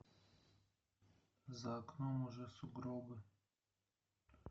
за окном уже сугробы